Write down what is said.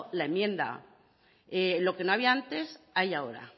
la enmienda lo que no había antes hay ahora